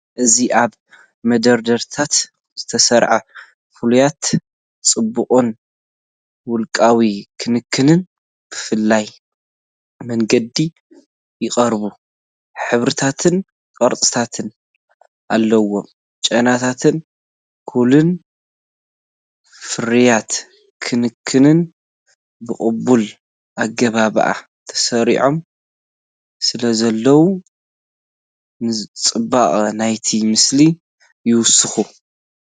እዚ ኣብ መደርደሪታት ዝተሰርዑ ፍርያት ጽባቐን ውልቃዊ ክንክንን ብፍሉይ መንገዲ ይቐርቡ፣ ሕብርታትን ቅርጽታትን ኣለዎም። ጨናታትን፡ ኮሎንን ፍርያት ክንክንን ብቕቡል ኣገባብ ተሰሪዖም ስለዘለዉ፡ ንጽባቐ ናይቲ ምስሊ ይውስኹ።